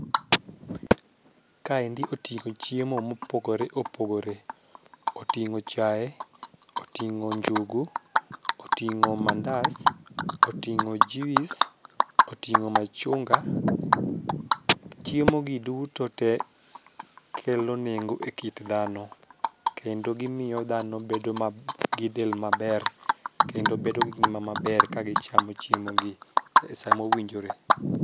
Kaendi oting'o chiemo mopogore opogore. Oting'o chai, oting'o njugu, oting'o mandas, oting'o juis, oting'o machunga. Chiemo gi duto tee kelo nengo ekit dhano kendo gimiyo dhano bedo mab gidel maber kendo bedo gi ngima maber ka gichamo chiemo gi samo winjore.